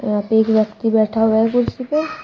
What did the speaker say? यहां पे एक व्यक्ति बैठा हुआ है कुर्सी पे।